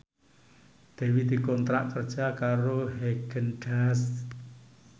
Dewi dikontrak kerja karo Haagen Daazs